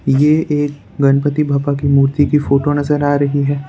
ये एक गणपति बाबा की मूर्ति की फोटो नज़र आ रही है।